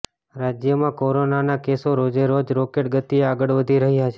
રાજ્યમાં કોરોનાના કેસો રોજેરોજ રોકેટ ગતિએ આગળ વધી રહ્યા છે